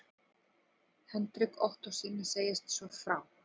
Hendrik Ottóssyni segist svo frá